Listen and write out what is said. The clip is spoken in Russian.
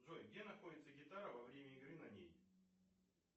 джой где находится гитара во время игры на ней